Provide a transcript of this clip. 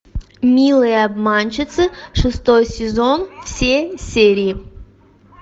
милые обманщицы шестой сезон все серии